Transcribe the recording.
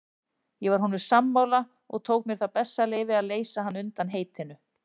Ég var honum sammála og tók mér það bessaleyfi að leysa hann undan heitinu.